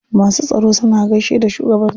Masu tsaro suna gaishe da shugaban su.